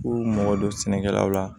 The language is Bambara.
K'u mɔgɔ dɔ sɛnɛ kɛlaw la